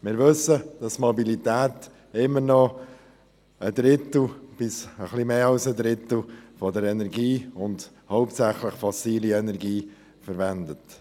Wir wissen, dass Mobilität stets noch einen Drittel oder noch etwas mehr der Energie, hauptsächlich fossile Energie, ausmacht.